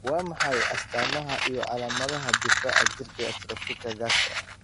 Waa maxay astamaha iyo calamadaha difaaca jirka ee atrophika gaska?